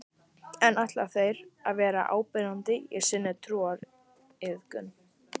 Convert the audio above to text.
En ætla þeir að vera áberandi í sinni trúariðkun?